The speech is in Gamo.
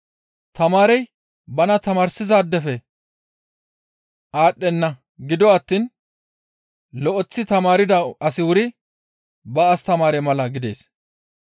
Tamaarey bana tamaarsizaadefe aadhdhenna; gido attiin lo7eththi tamaarda asi wuri ba astamaare mala gidees.